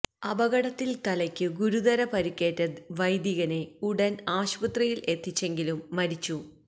അപകടത്തില് തലയ്ക്കു ഗുരുതര പരുക്കേറ്റ വൈദികനെ ഉടൻ ആശുപത്രിയിൽ എത്തിച്ചെങ്കിലും മരിച്ചു